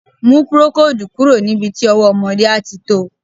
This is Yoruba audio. Mú procoldù kúrò níbi tí ọwọ́ ọmọdé àti to.